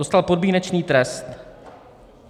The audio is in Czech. Dostal podmínečný trest.